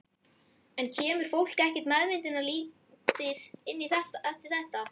En kemur fólk ekkert meðvitundarlítið inn eftir þetta?